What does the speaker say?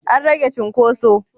An rage cinkoso?